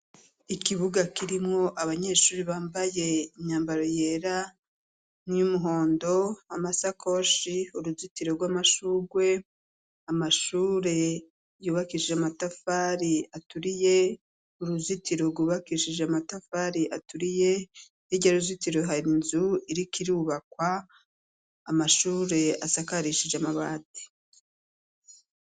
Ikibuga kirimwo abanyeshuri bambaye inyambaro yera n'iyo'umuhondo amasakoshi uruzitiro rw'amashurwe amashure yubakishije amatafari aturiye uruzitiro rwubakishije amatafari aturiye irya ruzitiro hara inzu irik irubakwa amashure asakarishije amabati.